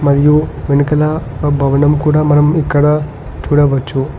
మరియు వెనకల ఒక భవనం కుడా మనం ఇక్కడ చూడవచ్చు.